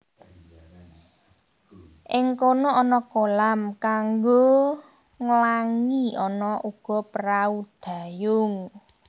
Ing kono ana kolam kanggo nglangi ana uga prahu dayung